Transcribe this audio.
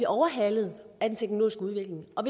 overhalet af den teknologiske udvikling og